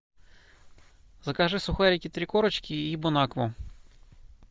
закажи сухарики три корочки и бонакву